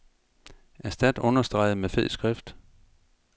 Erstat understreget med fed skrift.